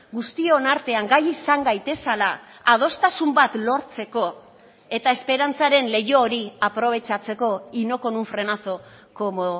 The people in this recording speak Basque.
guztion artean gai izan gaitezela adostasun bat lortzeko eta esperantzaren leiho hori aprobetxatzeko y no con un frenazo como